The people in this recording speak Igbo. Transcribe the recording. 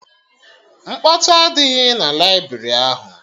Mkpọtụ adịghị na laibrị ahụ